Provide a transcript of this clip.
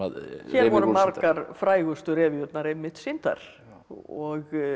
voru margar frægustu revíurnar einmitt sýndar og